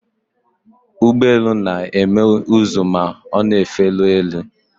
Ụgbọ elu na-eme ụzụ ma ọ na-efeli elu.